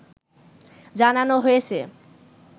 জানানো হয়েছে